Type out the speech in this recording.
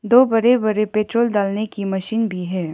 दो बड़े बड़े पेट्रोल डालने की मशीन भी है।